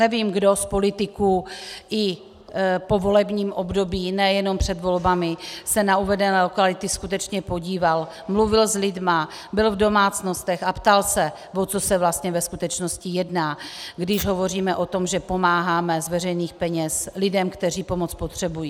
Nevím, kdo z politiků i v povolebním období, nejenom před volbami, se na uvedené lokality skutečně podíval, mluvil s lidmi, byl v domácnostech a ptal se, o co se vlastně ve skutečnosti jedná, když hovoříme o tom, že pomáháme z veřejných peněz lidem, kteří pomoc potřebují.